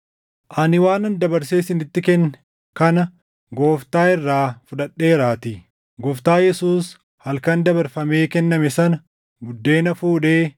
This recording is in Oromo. Ani waanan dabarsee isinitti kenne kana Gooftaa irraa fudhadheeraatii; Gooftaa Yesuus halkan dabarfamee kenname sana buddeena fuudhee,